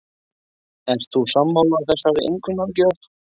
Ert þú sammála þessari einkunnagjöf?